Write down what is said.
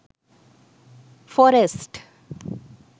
forest